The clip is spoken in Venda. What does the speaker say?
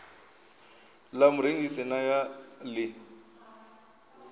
ḽa murengisi na ya ḽi